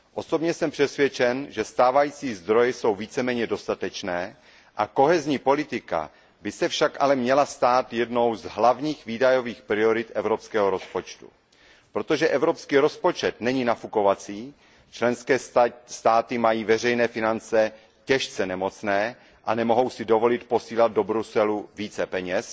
Osobně jsem přesvědčen, že stávající zdroje jsou víceméně dostatečné, politika soudržnosti by se však měla stát jednou z hlavních výdajových priorit evropského rozpočtu. Protože evropský rozpočet není nafukovací, členské státy mají veřejné finance těžce nemocné a nemohou si dovolit posílat do Bruselu více peněz,